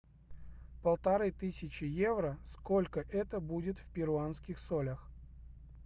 полторы тысячи евро сколько это будет в перуанских солях